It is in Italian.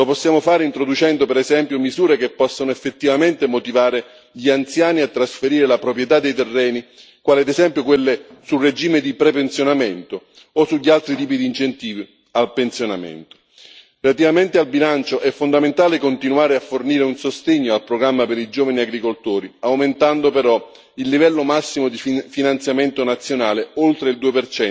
Lo possiamo fare introducendo, per esempio, misure che possano effettivamente motivare gli anziani a trasferire la proprietà dei terreni, quali ad esempio quelle sul regime di prepensionamento o sugli altri tipi di incentivi al pensionamento. Relativamente al bilancio, è fondamentale continuare a fornire un sostegno al programma per i giovani agricoltori, aumentando però il livello massimo di finanziamento nazionale oltre il 2